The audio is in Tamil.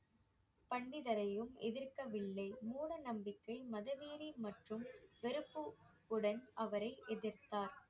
பண்டிதரையும் எதிர்க்கவில்லை மூட நம்பிக்கை மதவெறி மற்றும் உடன் அவரை எதிர்த்தார்